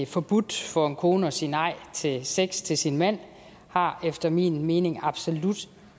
forbudt for en kone at sige nej til sex til sin mand har efter min mening absolut